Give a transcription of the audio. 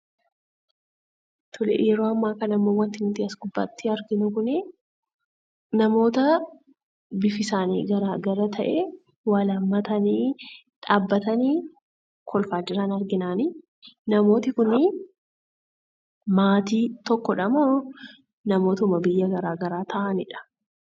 Suuraan kana gubbaatti argamu namoota bifti isaanii addaa adda ta'ee wal aammatanii dhaabbatanii kolfaa jiran argina. Namootni kun maatii tokkoo dha moo namoota biyya garaa garaa ta'anii dha?